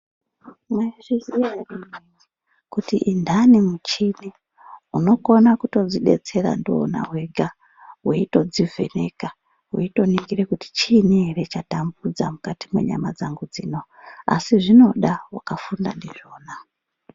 Mwaizviziya ere kuti inhani michini unokona kutodzidetsera ndiwona wega. Weitodzivheneka. Weitoningira kuti chiini ere chatambudza mukati mwenyama dzangu dzino. Asi zvinoda wakafunda ndizvona.